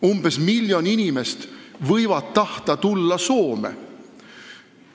Umbes miljon inimest võivad tahta tulla Soome.